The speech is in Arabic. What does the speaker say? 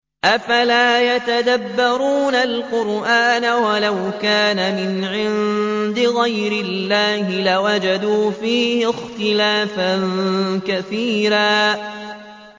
أَفَلَا يَتَدَبَّرُونَ الْقُرْآنَ ۚ وَلَوْ كَانَ مِنْ عِندِ غَيْرِ اللَّهِ لَوَجَدُوا فِيهِ اخْتِلَافًا كَثِيرًا